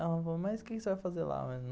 Ela falou, mas o que você vai fazer lá?